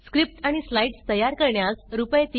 script आणि slides तयार करण्यास रुपये